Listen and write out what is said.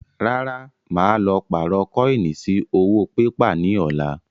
Rárá, màá lọ pààrọ̀ kọ́ínì sí owó pépà ni ọ̀la